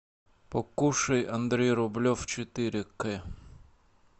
покушай андрей рублев четыре к